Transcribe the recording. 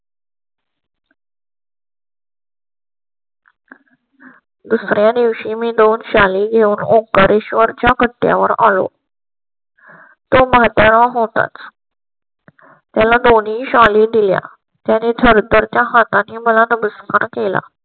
दुसर् या दिवशी मी दोन साली येऊन ओंकारेश्वर च्या कट्ट्यावर आलो. तो म्हातारा होता. त्याला दोन्ही शाली दिल्या ने थरथर च्या हातांनी मला नमस्कार केला.